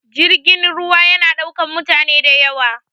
Jirgin ruwa ya na ɗaukan mutane da yawa